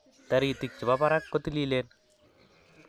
Taritik chepo parak ko tililen